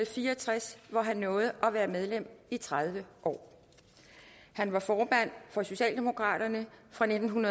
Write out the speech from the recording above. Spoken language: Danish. fire og tres og han nåede at være medlem i tredive år han var formand for socialdemokratiet fra nitten